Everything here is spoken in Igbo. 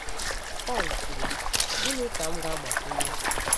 Pọl kwuru, “Gịnị ka m ga-agbakwunye?”